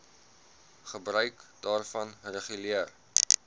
gebruik daarvan reguleer